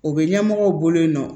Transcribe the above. U bɛ ɲɛmɔgɔw bolo yen nɔ